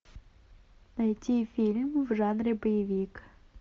найти фильм в жанре боевик